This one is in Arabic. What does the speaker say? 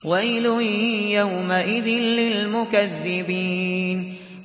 وَيْلٌ يَوْمَئِذٍ لِّلْمُكَذِّبِينَ